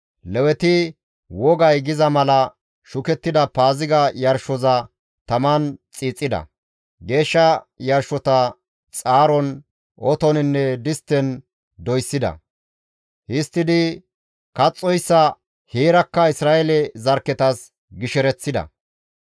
Leweti wogay giza mala shukettida Paaziga yarshoza taman xiixida; geeshsha yarshota xaaron, otoninne distten doyssida; histtidi kaxxoyssa heerakka Isra7eele zarkketas gishereththida.